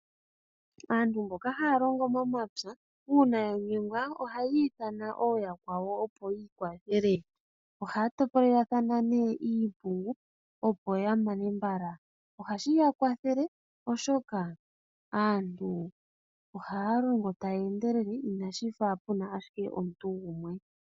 Aantu mboka haya longo momapya uuna ya nyengwa ohaya ithana ooyakwawo opo yiikwathele. Ohaya topolelathana iimpungu, opo ya mane mbala. Ohashi ya kwathele, oshoka aantu ohaya longo taya endelele inashi fa shi ashike puna omuntu gumwe.